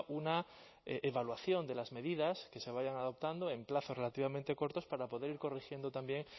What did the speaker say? una evaluación de las medidas que se vayan adoptando en plazo relativamente cortos para poder ir corrigiendo también